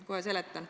Kohe seletan.